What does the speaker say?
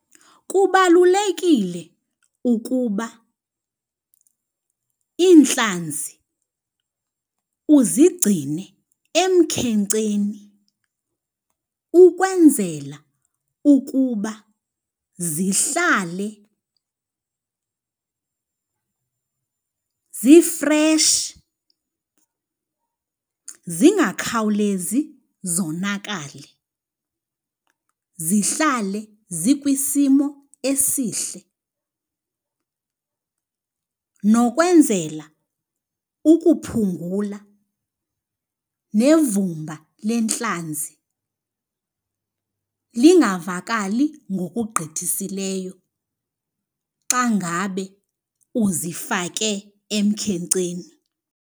Kubalulekile ukuba iintlanzi uzigcine emkhenkceni ukwenzela ukuba zihlale zifreshi zingakhawulezi zonakale, zihlale zikwisimo esihle. Nokwenzela ukuphungula nevumba lentlanzi lingavakali ngokugqithisileyo xa ngabe uzifake emkhenkceni.